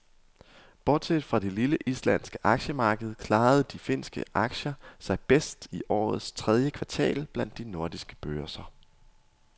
Bortset fra det lille islandske aktiemarked klarede de finske aktier sig bedst i årets tredje kvartal blandt de nordiske børser.